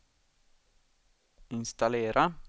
installera